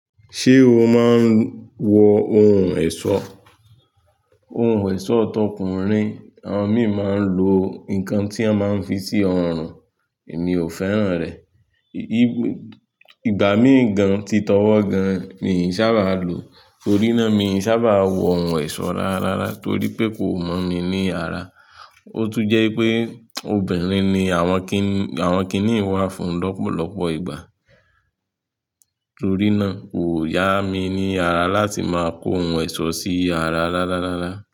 Ṣé o máa ń wọ ohun ẹ̀ṣọ́? Ohun ẹ̀ṣọ́ tọkùnrin, àwọn mìíràn máa ń lo nǹkan tí a máa ń fi sí ọrùn, èmi ò fẹ́ràn rẹ̀. Ìgbà míì gan tí tọwọ́ gan, mi ò sábà lo, torí náà mi ò sábà wọ oun ẹ̀ṣọ́ rárára torí pé kò mọ̀ mi ní ara. Ó tún jẹ́ pé obìnrin ni àwọn kiní, àwọn kiní ń wá fún lọ́pọ̀lọpọ̀ ìgbà. Torí náà kò yá mi ní ara láti máa kó oun ẹ̀ṣọ́ sí ara rararara.